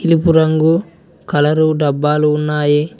తెలుపు రంగు కలరు డబ్బాలు ఉన్నాయి.